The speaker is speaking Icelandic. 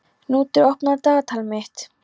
Knútur, opnaðu dagatalið mitt.